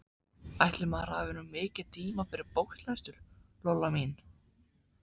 Ætli maður hafi nú mikinn tíma fyrir bóklestur, Lolla mín.